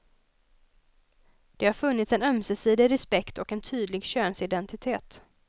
Det har funnits en ömsesidig respekt och en tydlig könsidentitet.